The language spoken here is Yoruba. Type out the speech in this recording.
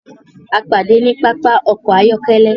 À pàdé ní pàpà ọkọ̀ ayọ̀kẹ̀lé.